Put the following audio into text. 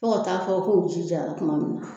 Fo ka taa fɔ ko ji jara kuma min na.